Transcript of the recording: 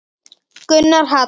Gunnar Hall.